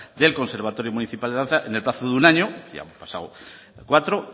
del conservatorio municipal de danza en el plazo de un año ya han pasado cuatro